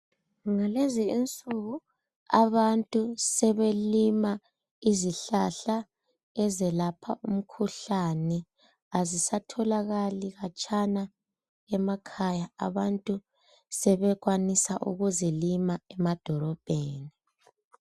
Ngalezi insuku abantu sebelima izihlahla ezelapha umkhuhlane azisatholakali khatshana emakhaya abantu sebekwanisa ukuzilima emadolobheni.